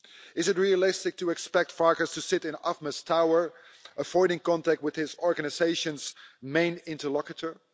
Is it realistic to expect Farkas to sit in AFME's tower, avoiding contact with his organisation's main interlocutor?